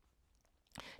DR2